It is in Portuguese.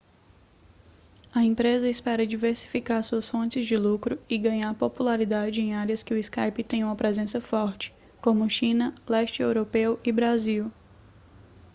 a empresa espera diversificar suas fontes de lucro e ganhar popularidade em áreas em que o skype tem uma presença forte como china leste europeu e brasil